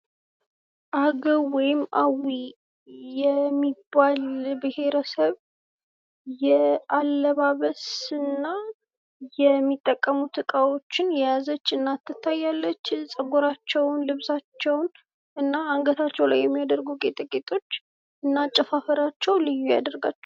አገዉ ወይም አዊ የሚባል ብሔረብ የአለባበስ እና የሚጠቀሙት እቃዎችን የያዘች እናት ትታየኛለች። ፀጉራቸዉን ልብሳቸዉን እና አንገታቸዉ ላይ የሚያደርጉ ጌጣጌጦች እና አጨፋፈራቸዉ ልዩ ያደርጋቸዋል።